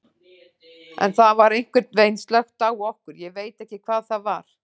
En það var einhvern veginn slökkt á okkur, ég veit ekki hvað það var.